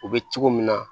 U bɛ cogo min na